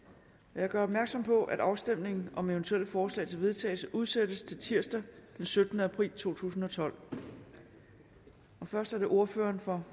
jeg gør opmærksom på at afstemning om eventuelle forslag til vedtagelse udsættes til tirsdag den syttende april to tusind og tolv først er det ordføreren for